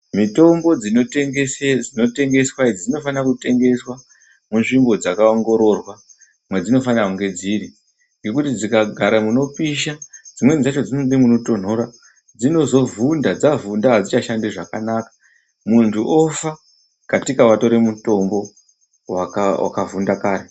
Mitombo dzinotengeswa idzi dzinofana kutengeswa munzvimbo dzakaongororwa, mwedzinofana kunge dziri ngekuti dzikagara munopisha dzimweni dzacho dzinoda munotonhora dzinozovhunda. Dzavhunda adzichashandi zvakanaka muntu ofa katika watore mutombo wakavhunde kare.